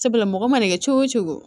Sabula mɔgɔ mana kɛ cogo o cogo